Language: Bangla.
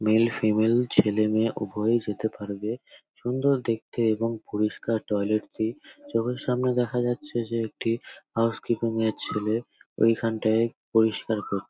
মেল ফিমেল ছেলে-মেয়ে উভয়েই যেতে পারবে সুন্দর দেখতে এবং পরিষ্কার টয়লেট -টি চোখের সামনে দেখা যাচ্ছে যে একটি হাউসকিপিং -এর ছেলে ওইখানটায় পরিষ্কার করছে ।